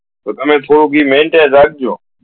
તો તને થોડુ ઈ maintain રાખજો